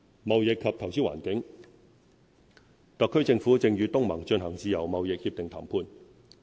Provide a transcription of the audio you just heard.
貿易及投資環境特區政府正與東盟進行自由貿易協定談判。